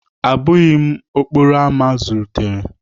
Abụghị m okporo ámá zụlitere